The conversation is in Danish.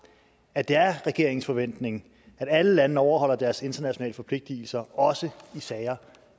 at det er regeringens forventning at alle lande overholder deres internationale forpligtelser også i sager